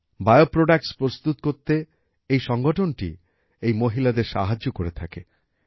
bio products প্রস্তুত করতে এই সংগঠনটি এই মহিলাদের সাহায্য করে থাকে